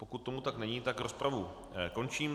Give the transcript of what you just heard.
Pokud tomu tak není, tak rozpravu končím.